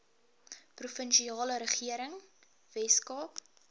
provinsiale regering weskaap